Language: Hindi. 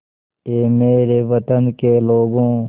ऐ मेरे वतन के लोगों